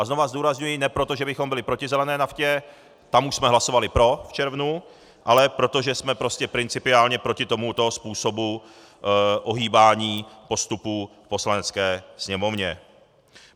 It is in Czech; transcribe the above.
A znovu zdůrazňuji, ne proto, že bychom byli proti zelené naftě, tam už jsme hlasovali pro v červnu, ale protože jsme prostě principiálně proti tomuto způsobu ohýbání postupů v Poslanecké sněmovně.